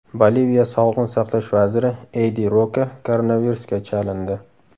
Boliviya sog‘liqni saqlash vaziri Eydi Roka koronavirusga chalindi.